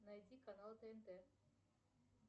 найди канал тнт